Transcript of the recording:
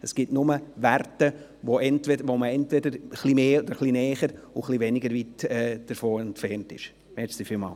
es gibt nur Werte, bei denen man etwas näher oder etwas weiter von der Wahrheit entfernt ist.